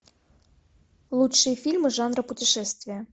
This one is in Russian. лучшие фильмы жанра путешествия